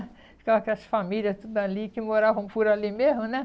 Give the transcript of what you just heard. Ficava com as famílias tudo ali que moravam por ali mesmo, né?